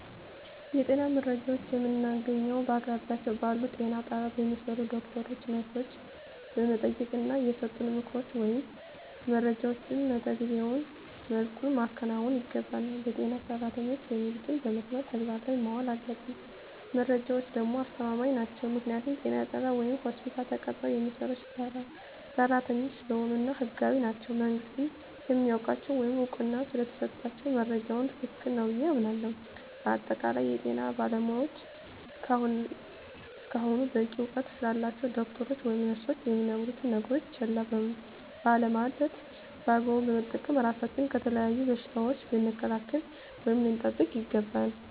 የጤና መረጃዎችን የምናገኘዉ በአቅራቢያችን ባሉ ጤና ጣቢያ በሚሰሩ ዶክተሮችን ነርሶችን በመጠየቅና የሰጡንን ምክሮች ወይም መረጃዎችን መተገቢዉ መልኩ ማከናወን ይገባናል በጤና ሰራተኖች የሚሉትን በመስማት ተግባር ላይ ማዋል አለብን መረጃዎች ደግሞ አስተማማኝ ናቸዉ ምክንያቱም ጤና ጣቢያ ወይም ሆስፒታል ተቀጥረዉ የሚሰሩ ሰራተኞች ስለሆኑ እና ህጋዊም ናቸዉ መንግስትም ስለሚያዉቃቸዉ ወይም እዉቅና ስለተሰጣቸዉ መረጃዉ ትክክል ነዉ ብየ አምናለሁ በአጠቃላይ የጤና ባለሞያዎች እስከሆኑና በቂ እዉቀት ስላላቸዉ ዶክተሮች ወይም ነርሶች የሚነግሩነን ነገሮች ችላ ባለማለት በአግባቡ በመጠቀም ራሳችንን ከተለያዩ በሽታዎች ልንከላከል ወይም ልንጠብቅ ይገባል